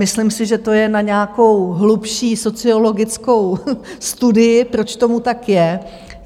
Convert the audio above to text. Myslím si, že to je na nějakou hlubší sociologickou studii, proč tomu tak je.